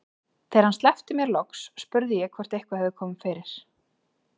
Þegar hann sleppti mér loks spurði ég hvort eitthvað hefði komið fyrir.